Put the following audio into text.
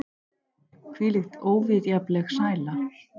Hvílík óviðjafnanleg sæla!